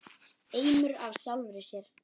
Eimur af sjálfri sér.